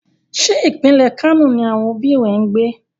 Ṣé pínlẹ̀ Kano ni àwọn òbí rẹ ń gbé?